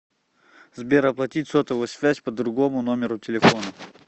сбер оплатить сотовую связь по другому номеру телефона